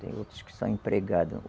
Tem outros que são empregados.